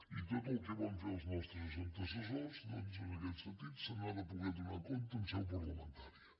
i de tot el que van fer els nostres antecessors doncs en aquest sentit se n’ha de poder donar compte en seu parlamentària